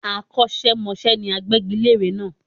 Akọ́ṣẹ́mọṣẹ́ ni agbégilére náà